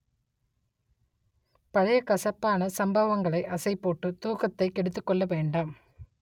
பழைய கசப்பான சம்பவங்களை அசைப் போட்டு தூக்கத்தை கெடுத்துக் கொள்ள வேண்டாம்